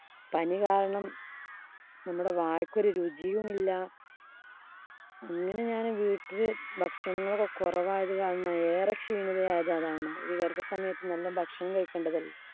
പനി കാരണം നമ്മടെ വായ്ക്ക് ഒരു രുചിയുമില്ല. അങ്ങനെ ഞാന് വീട്ടില് ഭക്ഷണമൊക്കെ കുറവായത് കാരണം ഞാന്‍ ഏറെ ക്ഷീണിതയായത്‌ അതാണ്‌. ഈ ഗര്‍ഭസമയത്ത് നല്ല ഭക്ഷണം കഴിക്കേണ്ടതല്ലേ.